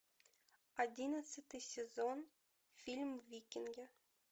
одиннадцатый сезон фильм викинги